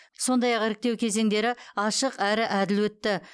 сондай ақ іріктеу кезеңдері ашық әрі әділ өтті